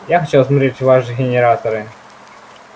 я хочу осмотреть ваш генераторы